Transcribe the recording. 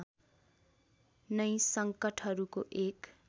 नै सङ्कटहरूको एक